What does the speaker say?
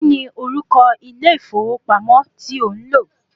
Kíni orúkọ ilé ìfowópamọ́ ti ò ń lò?